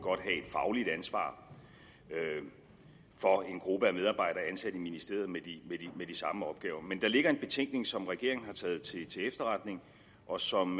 fagligt ansvar for en gruppe af medarbejdere ansat i ministeriet med de samme opgaver men der ligger en betænkning som regeringen har taget til efterretning og som